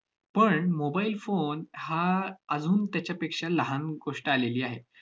पण mobile phone हा अजून त्याच्यापेक्षा लहान गोष्ट आलेली आहे.